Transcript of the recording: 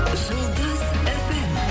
жұлдыз фм